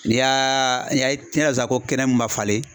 N'i y'a ayi n'i y'a sisan ko kɛnɛ min ma falen